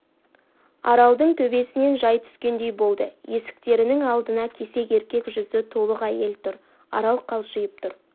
аралдың төбесінен жай түскендей болды есіктерінің алдында кесек еркек жүзді толық әйел тұр арал қалшиып тұрып